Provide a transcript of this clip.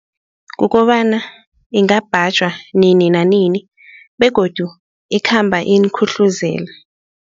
Kukobana ingabhajwa nini nanini begodu ikhamba inikhuhlezela.